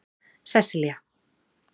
Sesselja